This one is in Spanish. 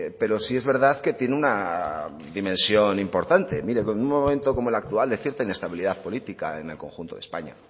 pero sí es verdad que tiene una dimensión importante mire en un momento como el actual de cierta inestabilidad política en el conjunto de españa